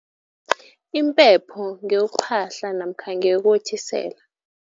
Impepho ngeyokuphahla namkha ngeyokothisela.